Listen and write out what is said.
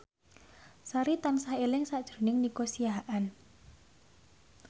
Sari tansah eling sakjroning Nico Siahaan